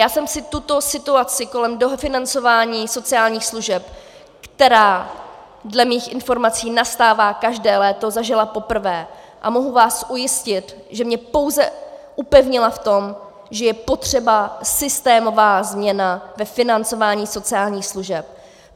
Já jsem si tuto situaci kolem dofinancování sociálních služeb, která dle mých informací nastává každé léto, zažila poprvé a mohu vás ujistit, že mě pouze upevnila v tom, že je potřeba systémová změna ve financování sociálních služeb.